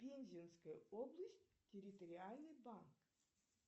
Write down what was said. пензенская область территориальный банк